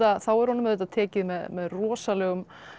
er honum auðvitað tekið með rosalegum